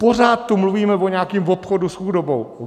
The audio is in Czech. Pořád tu mluvíme o nějakém obchodu s chudobou.